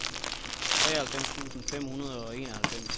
treoghalvfems tusind fem hundrede og enoghalvfems